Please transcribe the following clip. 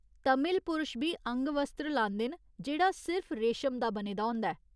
तमिल पुरश बी अंगवस्त्र लांदे न जेह्ड़ा सिर्फ रेशम दा बने दा होंदा ऐ।